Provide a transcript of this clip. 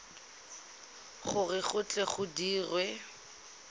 gore go tle go dirwe